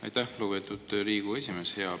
Aitäh, lugupeetud Riigikogu esimees!